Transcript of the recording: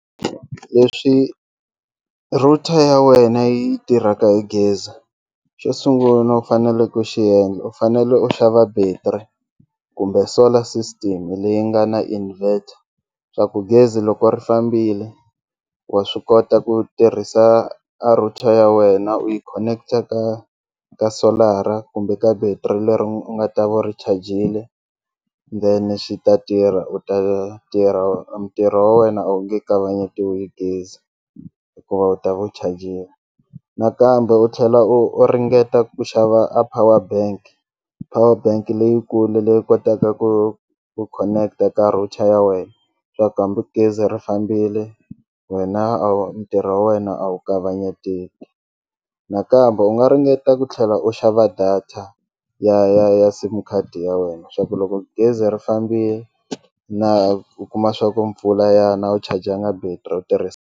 Leswi router ya wena yi tirhaka hi gezi xo sungula u fanele ku xi endla u fanele u xava battery kumbe solar system leyi nga na invert swa ku gezi loko ri fambile wa swi kota ku tirhisa a router ya wena u yi connector ka ka solar-a kumbe ka battery leri u nga ta va u ri chajile then xi ta tirha u ta tirha ntirho wa wena a wu nge kavanyetiwi gezi hikuva u ta ve u chajile, nakambe u tlhela u u ringeta ku xava a power bank, power bank leyikulu leyi kotaka ku ku connector ka router ya wena swa ku hambi gezi ri fambile wena a wu ntirho wa wena a wu kavanyeteki, nakambe u nga ringeta ku tlhela u xava data ya ya ya sim card ya wena swa ku loko gezi ri fambile na ku kuma swa ku mpfula ya na a wu chajanga battery u tirhisa.